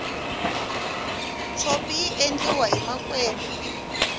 tshopi yi endliwahi makwembe